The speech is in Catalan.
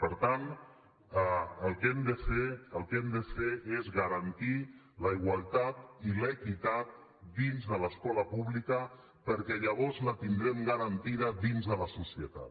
per tant el que hem de fer el que hem de fer és garantir la igualtat i l’equitat dins de l’escola pública perquè llavors la tindrem garantida dins de la societat